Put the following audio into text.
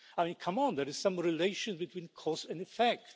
I mean, come on, there is some relation between cause and effect.